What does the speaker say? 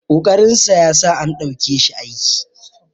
ƙoƙarinsa ya sa an ɗauke shi aiki